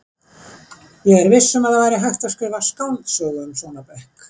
Ég er viss um að það væri hægt að skrifa skáldsögu um svona blokk.